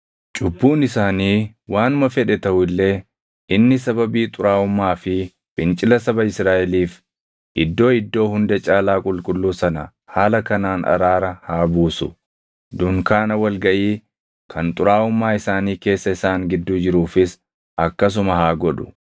Cubbuun isaanii waanuma fedhe taʼu illee inni sababii xuraaʼummaa fi fincila saba Israaʼeliif Iddoo Iddoo Hunda Caalaa Qulqulluu sana haala kanaan araara haa buusu; dunkaana wal gaʼii kan xuraaʼummaa isaanii keessa isaan gidduu jiruufis akkasuma haa godhu.